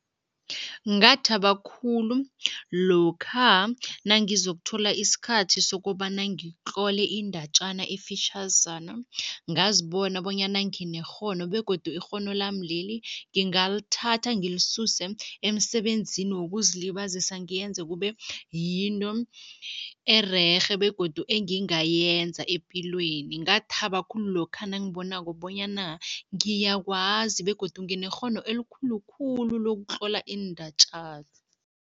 Ngathaba khulu lokha nangizokuthola isikhathi sokobana ngitlole indatjana efitjhazana, ngazibona bonyana nginekghono begodu ikghono lami leli ngingalithatha emsebenzini wokuzilibazisa, ngiyenze kube yinto ererhe begodu engingayenza epilweni. Ngathaba khulu lokha nangibonako bonyana ngiyakwazi begodu nginekghono elikhulu khulu lokutlola iindatjana.